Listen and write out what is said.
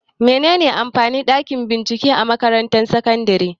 Mene ne amfanin ɗakin bincike na makarantar sakandare?